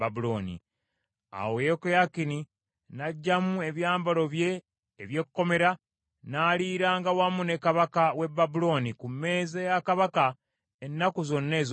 Awo Yekoyakini n’aggyamu ebyambalo bye eby’ekkomera n’aliiranga wamu ne kabaka w’e Babulooni ku mmeeza ya kabaka ennaku zonna ez’obulamu bwe.